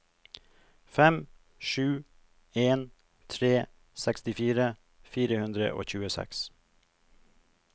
fem sju en tre sekstifire fire hundre og tjueseks